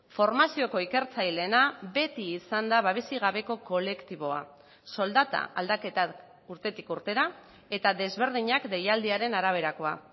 formazioko ikertzaileena beti izan da babesik gabeko kolektiboa soldata aldaketak urtetik urtera eta desberdinak deialdiaren araberakoa